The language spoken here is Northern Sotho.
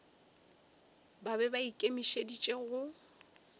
ba be ba ikemišeditše go